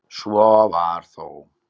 Svo var þó.